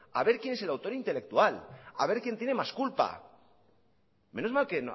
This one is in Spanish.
a ver quién es el autor intelectual a ver quién tiene más culpa menos mal que